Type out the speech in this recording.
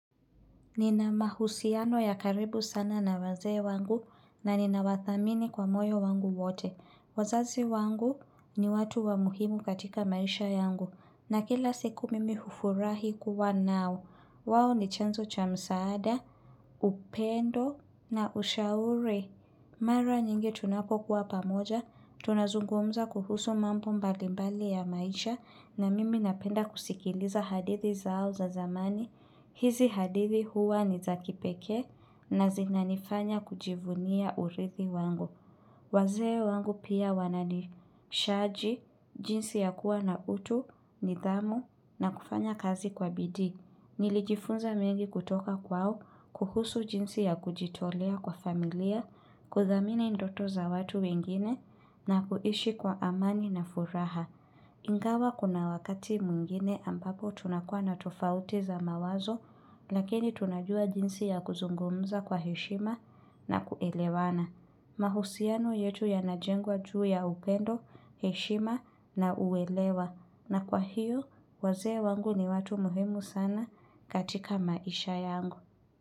Nina mahusiano ya karibu sana na wazee wangu na nina wathamini kwa moyo wangu wote. Wazazi wangu ni watu wa muhimu katika maisha yangu. Na kila siku mimi hufurahi kuwa nao. Wao ni chanzo cha msaada, upendo na ushauri. Mara nyingi tunapokuwa pamoja. Tunazungumza kuhusu mambo mbalimbali ya maisha. Na mimi napenda kusikiliza hadithi zao za zamani. Hizi hadithi huwa ni za kipekee na zinanifanya kujivunia urithi wangu. Wazee wangu pia wananishaji, jinsi ya kuwa na utu, nidhamu na kufanya kazi kwa bidii. Nilijifunza mengi kutoka kwao, kuhusu jinsi ya kujitolea kwa familia, kuthamini ndoto za watu wengine na kuishi kwa amani na furaha. Ingawa kuna wakati mwingine ambapo tunakua na tofauti za mawazo lakini tunajua jinsi ya kuzungumza kwa heshima na kuelewana. Mahusiano yetu yanajengwa juu ya upendo heshima na uelewa na kwa hiyo wazee wangu ni watu muhimu sana katika maisha yangu.